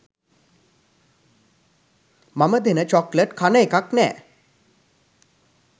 මම දෙන චොක්ලට් කන එකක් නෑ